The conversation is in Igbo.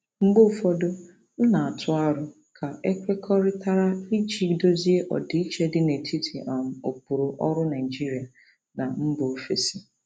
Mgbe ụfọdụ, m na-atụ aro ka e kwekọrịtara iji dozie ọdịiche dị n'etiti um ụkpụrụ ọrụ Naijiria na mba ofesi.